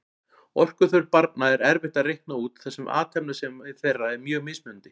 Orkuþörf barna er erfitt að reikna út þar sem athafnasemi þeirra er mjög mismunandi.